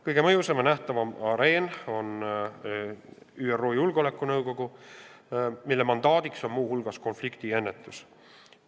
Kõige mõjusam ja nähtavam areen on ÜRO Julgeolekunõukogu, mille mandaadiks on muu hulgas konfliktide ennetamine.